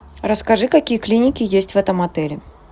расскажи какие клиники есть в этом отеле